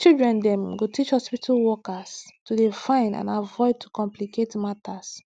children dem go teach hospitu workers to dey fine and avoid to complicate matters